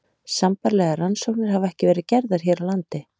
Sambærilegar rannsóknir hafa ekki verið gerðar hér á landi.